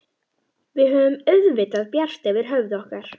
Við höfum auðvitað bjart yfir höfði okkar.